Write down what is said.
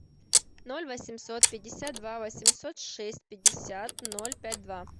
ноль восемьсот пятьдесят два восемьсот шесть пятьдесят ноль пять два